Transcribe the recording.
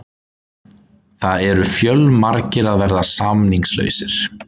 Það eru fjölmargir að verða samningslausir.